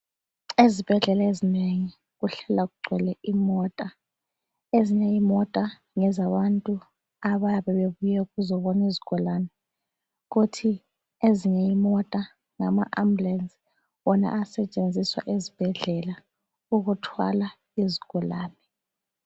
Ezibhedlela ezinengi kuhlala kugcwele imota. Ezinye imota ngezabantu abayabe bebuya ukuzobona izigulane. Kuthi ezinye imota, ngama Ambulensi wona asetshenziswa ezibhedlela ukuthwala izigulane.